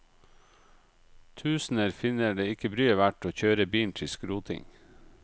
Tusener finner det ikke bryet verdt å kjøre bilen til skroting.